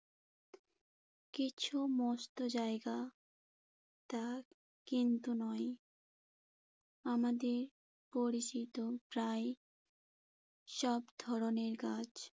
কিছু মস্ত জায়গা তা কিন্তু নয়। আমাদের পরিচিত প্রায় সব ধরণের গাছ